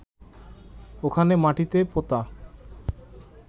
ওখানে মাটিতে পোঁতা